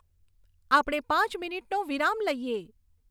આપણે પાંચ મિનિટનો વિરામ લઈએ